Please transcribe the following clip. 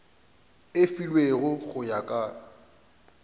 e filwego go ya ka